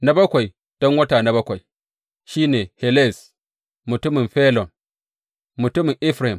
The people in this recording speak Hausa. Na Bakwai, don wata na bakwai, shi ne Helez mutumin Felon, mutumin Efraim.